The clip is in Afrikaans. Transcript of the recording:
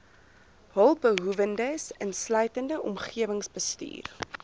hulpbehoewendes insluitend omgewingsbestuur